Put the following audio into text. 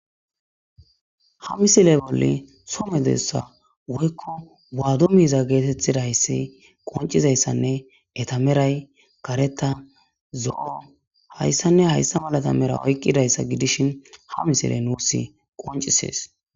Ha misile bolle somedessa woykko waado miiza geetettidayssi qoncizayssanne etameray kareta zo'o hayssanne hayssa malata mera oyqqidayssa gidishin ha misile nuus qoncisees.